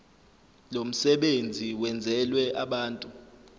lomsebenzi wenzelwe abantu